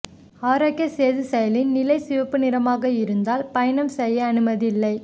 ஆரோக்கிய சேது செயலியின் நிலை சிவப்பு நிறமாக இருந்தால் பயணம் செய்ய அனுமதி இல்லை